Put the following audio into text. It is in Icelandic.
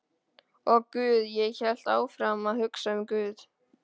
Og guð, ég hélt áfram að hugsa um guð.